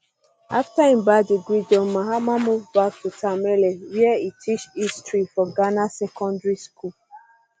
um afta im ba degree john mahama move back to tamale wia e teach history for ghana um secondary school